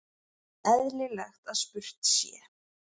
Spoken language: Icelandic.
Eðlilegt að spurt sé.